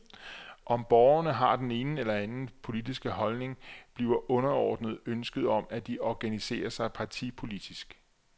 Om borgerne har den ene eller anden politiske holdning, bliver underordnet ønsket om, at de organiserer sig partipolitisk.